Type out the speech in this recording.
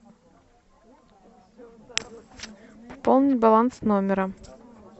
пополни баланс номера